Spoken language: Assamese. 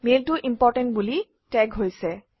মেইলটো ইম্পৰ্টেণ্ট বুলি টেগ হৈছে